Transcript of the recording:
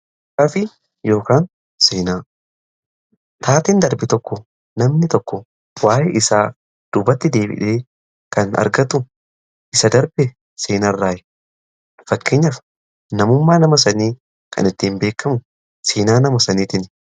kaafii yookaan seenaa. taateen darbe tokko namni tokko waa'ee isa duubatti deebi'ee kan argatu isa darbe seenaa irraayi. fakkeenyaaf namummaan nama sanii kan ittiin beekamu seenaa nama saniitiin.